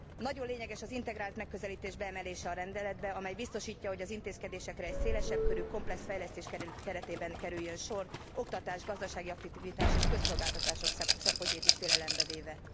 Nagyon lényeges az integrált megközelítés beemelése a rendeletbe, amely biztosítja, hogy az intézkedésekre egy szélesebb körű, komplex fejlesztés keretében kerüljön sor, oktatás, gazdasági aktivitás és közszolgáltatás szempontjait is figyelembe véve.